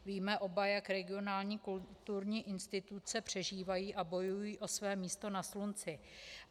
Víme oba, jak regionální kulturní instituce přežívají a bojují o své místo na slunci.